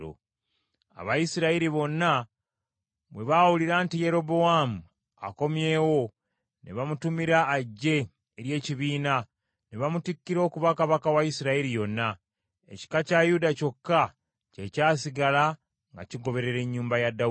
Abayisirayiri bonna bwe baawulira nti Yerobowaamu akomyewo, ne bamutumira ajje eri ekibiina, ne bamutikkira okuba kabaka wa Isirayiri yonna. Ekika kya Yuda kyokka kye kyasigala nga kigoberera ennyumba ya Dawudi.